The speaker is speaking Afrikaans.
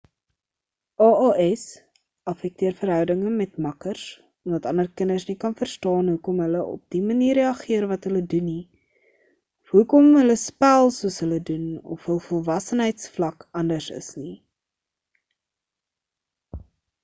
aas affekteer verhoudinge met makkers omdat ander kinders nie kan verstaan hoekom hulle op die manier reaggeer wat hulle doen nie of hoekom hulle spel soos hulle doen of hul volwassenheidsvlak anders is nie